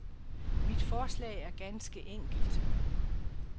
Mit forslag er ganske enkelt.